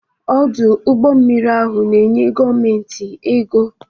Ọdụ ụgbọ mmiri ahụ na-enye gọọmentị ego.